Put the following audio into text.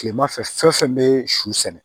Kilema fɛ fɛn o fɛn be su sɛnɛ